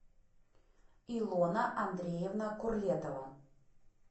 илона андреевна курлетова